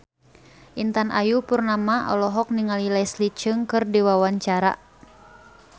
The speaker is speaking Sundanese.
Intan Ayu Purnama olohok ningali Leslie Cheung keur diwawancara